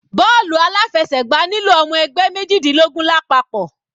Bọ́ọ̀lù aláfẹsẹ̀gbá nílò ọmọ ẹgbẹ́ mejidinlogun lápapọ̀.